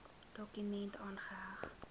dokument aangeheg